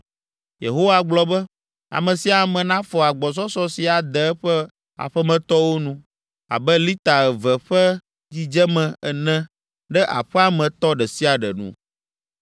Yehowa gblɔ be, ame sia ame nafɔ agbɔsɔsɔ si ade eƒe aƒemetɔwo nu abe lita eve ƒe dzidzeme ene ɖe aƒea me tɔ ɖe sia ɖe nu.”